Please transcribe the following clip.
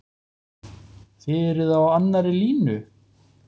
Þið eruð á annarri línu?